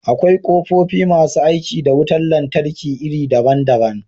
Akwai ƙofofi masu aiki da wutar lantarki iri daban-daban.